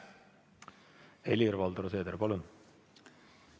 Helir-Valdor Seeder, palun!